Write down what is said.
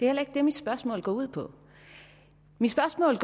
heller ikke det mit spørgsmål går ud på mit spørgsmål